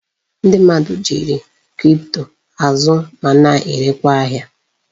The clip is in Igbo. Ndi mmadu ji kripto azụ ma na erekwa ahia